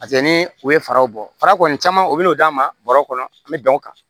ni u ye faraw bɔ fara kɔni caman u bɛ n'o d'an ma bɔrɔ kɔnɔ an bɛ dan o kan